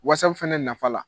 fana nafa la.